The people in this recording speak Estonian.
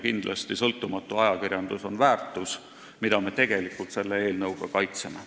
Kindlasti on sõltumatu ajakirjandus väärtus, mida me tegelikult selle eelnõuga kaitseme.